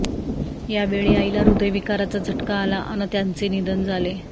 यावेळी आईला हृदयविकाराचा झटका आला अन् त्यांचे निधन झाले